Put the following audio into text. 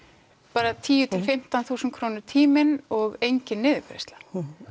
bara tíu til fimmtán þúsund krónur tíminn og engin niðurgreiðsla